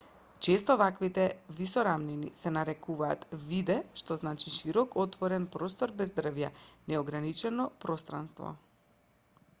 често ваквите висорамнини се нарекуваат виде што значи широк отворен простор без дрвја неограничено пространство